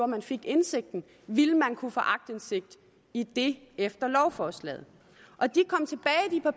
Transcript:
man fik indsigten ville kunne få aktindsigt i det efter lovforslaget